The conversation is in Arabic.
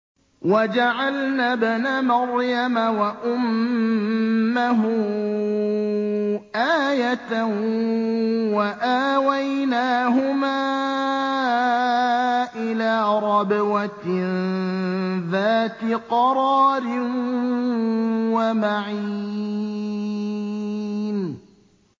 وَجَعَلْنَا ابْنَ مَرْيَمَ وَأُمَّهُ آيَةً وَآوَيْنَاهُمَا إِلَىٰ رَبْوَةٍ ذَاتِ قَرَارٍ وَمَعِينٍ